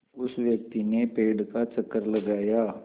उस व्यक्ति ने पेड़ का चक्कर लगाया